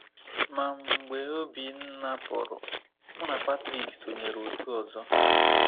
Ma, mgbe Obinna pụrụ, mụ na Patrick sonyeere otu ọzọ.